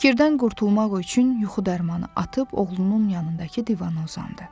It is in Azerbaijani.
Fikirdən qurtulmaq üçün yuxu dərmanı atıb oğlunun yanındakı divana uzandı.